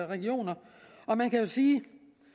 regioner og man kan sige